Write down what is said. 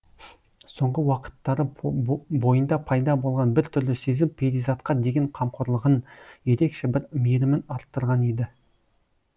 соңғы уақыттары бойында пайда болған біртүрлі сезім перизатқа деген қамқорлығын ерекше бір мейірімін арттырған еді